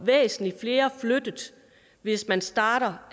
væsentlig flere flyttet hvis man starter